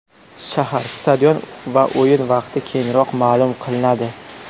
Shahar, stadion va o‘yin vaqti keyinroq ma’lum qilinadi.